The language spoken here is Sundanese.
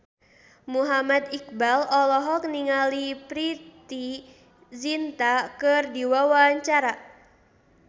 Muhammad Iqbal olohok ningali Preity Zinta keur diwawancara